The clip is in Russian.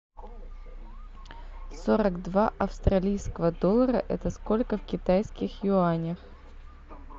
сорок два австралийского доллара это сколько в китайских юанях